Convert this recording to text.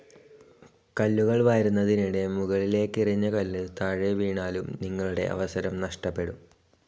കല്ലുകൾ വാരുന്നതിനിടെ മുകളിലേക്കെറിഞ്ഞ കല്ല് താഴെ വീണാലും നിങ്ങളുടെ അവസരം നഷ്ടപ്പെടും.